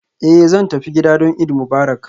Eh zan tafi gida don Eid Mubarak